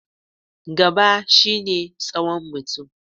Gaba shi ne tsawon mutum.